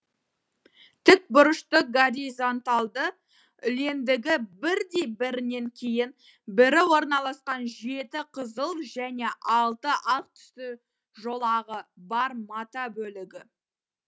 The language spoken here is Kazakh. тікбұрышты горизонтальды үлендігі бірдей бірінен кейін бірі орналасқан жеті қызыл және алты ақ түсті жолағы бар мата бөлігі